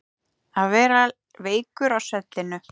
Að vera veikur á svellinu